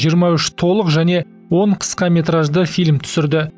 жиырма үш толық және он қысқаметражды фильм түсірді